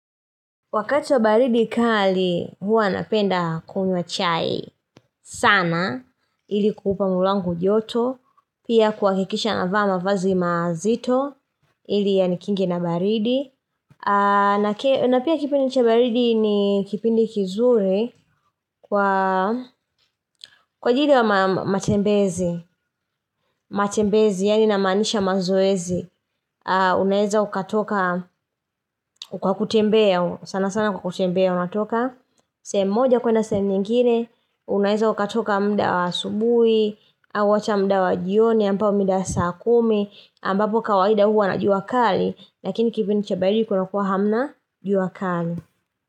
Wakati wa baridi kali hua napenda kunywa chai sana ili kuupa mwili wangu joto pia kuhakikisha navaa mavazi mazito ili yanikinge na baridi na pia kipindi cha baridi ni kipindi kizuri kwa kwa ajili ya matembezi matembezi yaani namaanisha mazoezi Unaeza ukatoka kwa kutembea sana sana kwa kutembea unatoka sehemu moja kuenda sehemu nyingine Unaeza ukatoka muda wa asubuhi au ata muda wa jioni ambao umida saa kumi ambapo kawaida huwa na jua kali Lakini kipindi cha baridi kuna kuwa hamna jua kali.